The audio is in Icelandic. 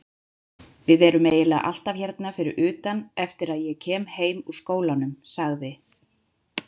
Við erum eiginlega alltaf hérna fyrir utan eftir að ég kem heim úr skólanum, sagði